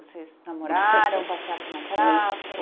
Vocês namoraram, passeavam na praça?